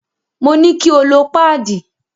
Mo ní kí o lo páàdì.